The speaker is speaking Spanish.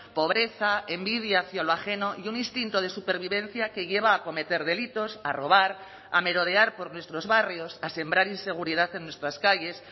pobreza envidia hacia lo ajeno y un instinto de supervivencia que lleva a cometer delitos a robar a merodear por nuestros barrios a sembrar inseguridad en nuestras calles